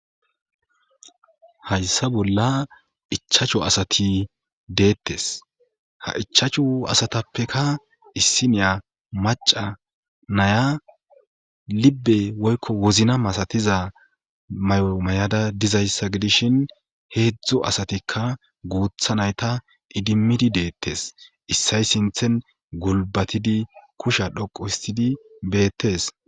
hayssa bolla ichachu asati deettes ha ichachu asatappeka issineya maca naya libbe woykko wozna masatiza may7omay7ada dizayssa gidishin heedzdzo asatikka guutha nayta idimmidi deettes issay sinthen gulbatidi kusha dhoqu histidi beettes